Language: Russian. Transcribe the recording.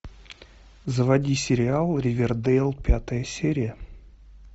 заводи сериал ривердейл пятая серия